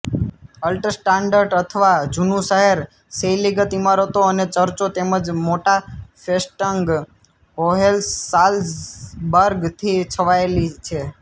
Altstadt અથવા જુનું શહેર શૈલીગત ઈમારતો અને ચર્ચો તેમજ મોટા ફેસ્ટંગ હોહેન્સાલ્ઝબર્ગ થી છવાયેલી છે